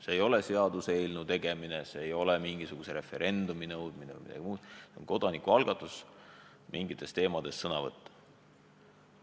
See ei ole õigus seaduseelnõu teha, see ei ole õigus mingisugust referendumit nõuda, see on õigus kodanikualgatuse toetamisega mingitel teemadel sõna võtta.